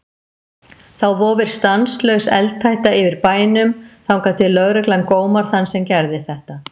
Þá vofir stanslaus eldhætta yfir bænum þangað til lögreglan gómar þann sem gerði þetta.